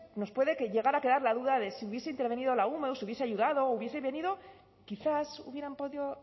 no sé nos pueden llegar a quedar la duda de si hubiese intervenido la ume o si hubiese ayudado o hubiese venido quizás hubieran podido